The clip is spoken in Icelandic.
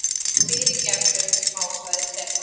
Fyrirgefðu másaði Stefán.